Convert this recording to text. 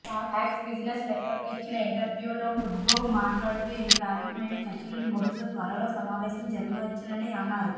pox business నెట్వర్క్కు ఇచ్చిన ఇంటర్వ్యూలో కుడ్లోవ్ మాట్లాడుతూ ఇవి ప్రాధమికమైన చర్చలని బహుశ త్వరలో సమావేశం జరగవచ్చునని అన్నారు